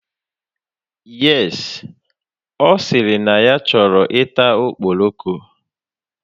Yes, o siri na ya choro ita okporoko